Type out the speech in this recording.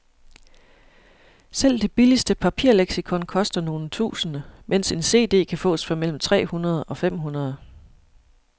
Selv det billigste papirleksikon koster nogle tusinde, mens en cd kan fås for mellem tre hundrede og fem hundrede.